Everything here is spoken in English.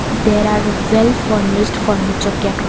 there are well furnished furniture kept--